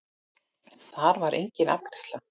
Þar var enginn afgreiðslu